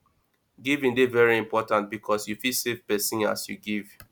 giving de very important because you fit save persin as you give